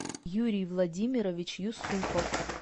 юрий владимирович юсупов